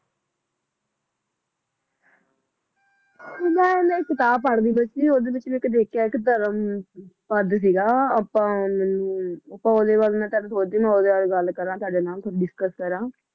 ਮੈ ਨਾ ਇਕ ਕਿਤਾਬ ਪੜਦੀ ਪਈ ਸੀ ਉਹਦੇ ਵਿਚ ਮੈਂ ਇਕ ਦੇਖਿਆ ਇਕ ਧਰਮ ਪਧ ਸੀ ਗਾ ਆਪਾ ਮੈਨੂੰ ਮੈ ਸੋਚਦੀ ਮੈ ਉਹਦੇ ਬਾਰੇ ਗੱਲ ਕਰਾ ਸੀ ਤੁਹਾਡੇ ਨਾਲ ਡਿਸਕਸ ਕਰਾਂ